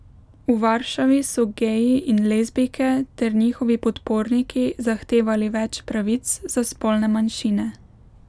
V Varšavi so geji in lezbijke ter njihovi podporniki zahtevali več pravic za spolne manjšine.